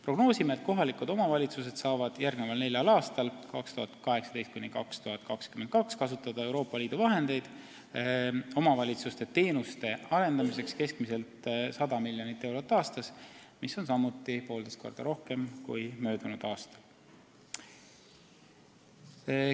Prognoosime, et kohalikud omavalitsused saavad järgmisel neljal aastal, st 2018–2022, kasutada Euroopa liidu vahendeid omavalitsuste teenuste arendamiseks keskmiselt 100 miljonit eurot aastas, mis on samuti poolteist korda rohkem kui möödunud aastal.